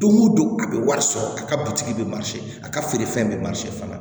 Don o don a bɛ wari sɔrɔ a ka butiki bɛ a ka feerefɛn bɛ fana